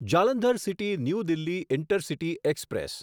Jalandhar city new Delhi intercity express